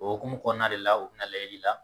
O okumu kɔnɔna de la o bi na layɛli la